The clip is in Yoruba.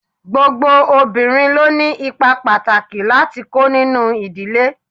Gbogbo obìnrin ló ni ipa pàtàkì láti kó nínú ìdílé.